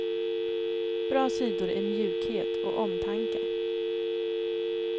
Bra sidor är mjukhet och omtanke.